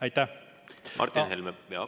Aitäh!